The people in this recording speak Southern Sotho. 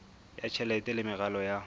ya tjhelete le meralo ya